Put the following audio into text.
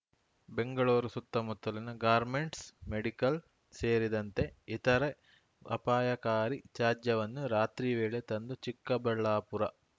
ಬೆಂಗಳೂರು ಸುತ್ತಮುತ್ತಲಿನ garments medical ಸೇರಿದಂತೆ ಇತರೆ ಅಪಾಯಕಾರಿ ತ್ಯಾಜ್ಯವನ್ನು ರಾತ್ರಿ ವೇಳೆ ತಂದು ಚಿಕ್ಕಬಳ್ಳಾಪುರ